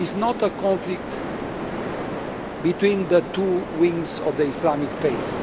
It is not a conflict between the two wings of the Islamic faith.